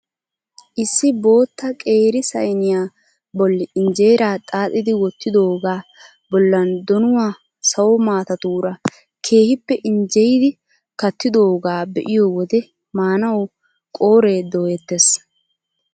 Issi bootta qeeri sayniyaa bolli injeeraa xaaxxidi wottidogaa bollan donuwaa sawo matatuura keehippe injjeyidi kattidoogaa be'iyoo wode maanawu qooree doyettees!